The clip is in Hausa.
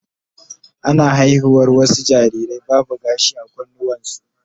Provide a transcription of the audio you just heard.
Ana haihuwar wasu jarirai babu gashi a kawunansu